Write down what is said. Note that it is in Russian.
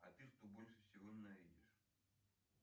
а ты что больше всего ненавидишь